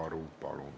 Palun!